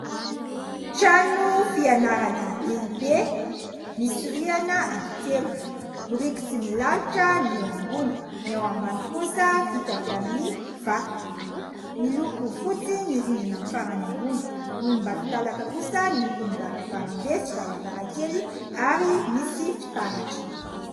Trano fianarana lehibe. Misy rihana anankitelo, biriky tsy milalotra ny ao ambony, ny ao ambany kosa vita avy amin'ny vato. Miloko fotsy ny rindrina farany ambony. Volombatolalaka kosa ny lokon'ny varavaram-be sy varavarankely ary misy fitaratra.